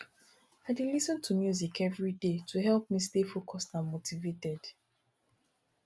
i dey lis ten to music every day to help me stay focused and motivated